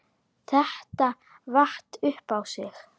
Þetta vatt upp á sig.